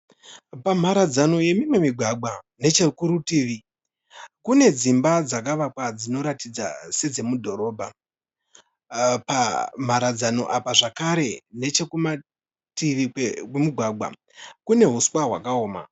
Pamharadzano yemimwe migwagwa nechekurutivi kune dzimba dzakavakwa dzinoratidza sedzemudhorobha. Pamharadzano apa zvakare nechekumativi kwemugwagwa kune huswa hwakaoma.